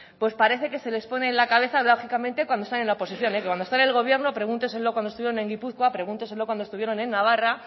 parece que se les pone en la cabeza lógicamente cuando están en la oposición que cuando están en el gobierno pregúnteselo cuando estuvieron en gipuzkoa pregúnteselo cuando estuvieron en navarra